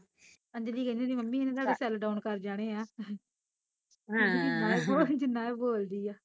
ਅੰਜਲੀ ਕਹਿੰਦੀ ਹੁੰਦੀ ਮੰਮੀ ਇਹਨੂੰ ਕਹਿ ਇਹਨੇ ਸਾਡੇ ਸੈੱਲ ਡਾਓਨ ਕਰ ਜਾਣੇ ਐ ਕਹਿੰਦੀ ਜਿਨਾ ਏਹ ਬੋਲਦੀ ਐ